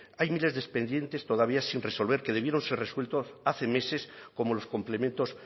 hay miles de expedientes todavía sin resolver que debieron ser resueltos hace meses como los complementos